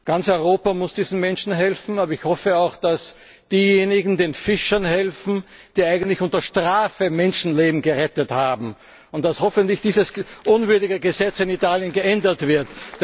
Ganz Europa muss diesen Menschen helfen, aber ich hoffe auch, dass den Fischern geholfen wird, die eigentlich unter Strafe Menschenleben gerettet haben, und dass hoffentlich dieses unwürdige Gesetz in Italien geändert wird.